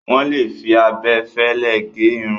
Wọ́n lè fi abẹ fẹ́lẹ́ gẹ irun.